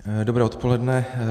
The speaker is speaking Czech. Dobré odpoledne.